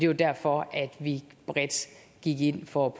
jo derfor at vi bredt gik ind for